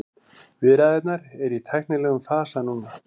Viðræðurnar eru í tæknilegum fasa núna